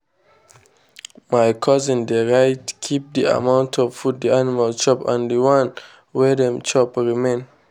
my cousin dey write kip the amount of food the animal chop and the one wey dem chop remain.